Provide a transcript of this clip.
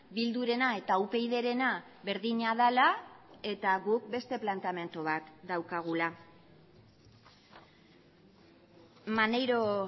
bildurena eta upydrena berdina dela eta guk beste planteamendu bat daukagula maneiro